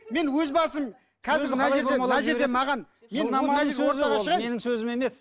мен өз басым қазір мына менің сөзім емес